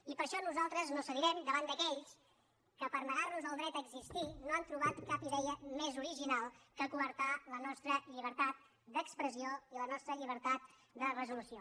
i per això nosaltres no cedirem davant d’aquells que per negar nos el dret a existir no han trobat cap idea més original que coartar la nostra llibertat d’expressió i la nostra llibertat de resolució